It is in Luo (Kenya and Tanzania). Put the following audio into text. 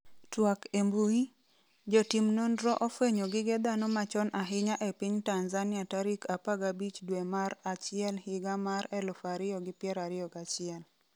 twak e mbui, Jotim nonro ofwenyo gige dhano machon ahinya e piny Tanzania tarik 15 dwe mar achiel higa mar 2021